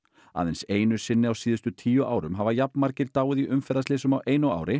aðeins einu sinni á síðustu tíu árum hafa jafnmargir dáið í umferðarslysum á einu ári